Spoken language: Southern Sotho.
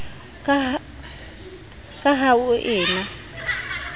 ka ha ho e na